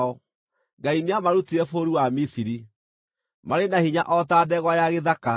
Ngai nĩamarutire bũrũri wa Misiri; marĩ na hinya o ta ndegwa ya gĩthaka.